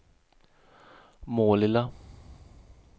Målilla